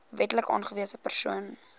wetlik aangewese persoon